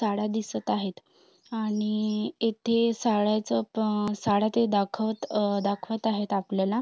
साड्या दिसत आहेत आणि इथे साड्याच पण साड्या ते दाखवत दाखवत आहेत आपल्याला.